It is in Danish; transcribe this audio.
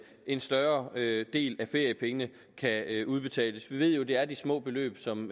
en større del del af feriepengene kan udbetales vi ved jo at det er de små beløb som